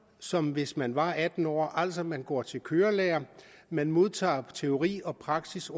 som hvis man var atten år altså man går til kørelærer man modtager undervisning teori og praksis